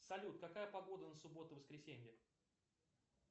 салют какая погода на субботу воскресенье